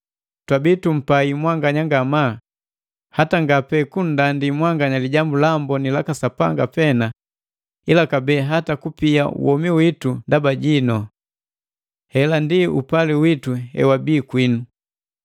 Twabi tumpai mwanganya ngamaa hata nga pe kundandi mwanganya Lijambu la Amboni laka Sapanga pena, ila kabee hata kupia womi witu ndaba jinu. Hela ndi upali witu hewabii kwinu!